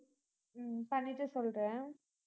ஹம் பண்ணிட்டு சொல்றேன்